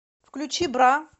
включи бра